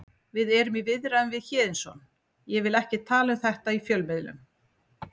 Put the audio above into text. Við erum í viðræðum við Héðinsson ég vil ekki tala um þetta í fjölmiðlum.